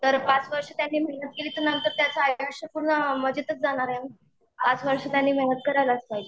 तर पाच वर्ष त्याने मेहनत केली तर नंतर त्याचं आयुष्य सगळं मजेतच जाणार आहे ना. पाच वर्ष त्याने मेहनत करायलाच पाहिजे.